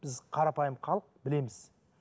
біз қарапайым халық білеміз